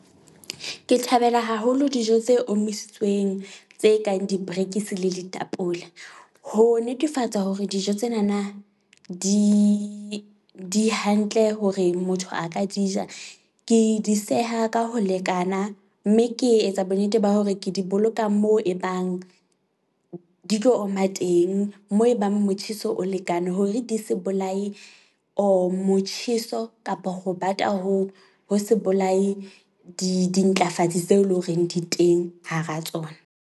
Ke thabela haholo dijo tse omisitsweng tse kang diperekisi le ditapole, ho netefatsa hore dijo tsenana di di hantle hore motho a ka di ja. Ke di seha ka ho lekana mme ke etsa bonnete ba hore ke di boloka moo ebang di tlo oma teng. Moo ebang motjheso o lekane hore di se bolaye or motjheso kapa ho bata hoo ho se bolaye di dintlafatsi tseo e leng horeng di teng hara tsona.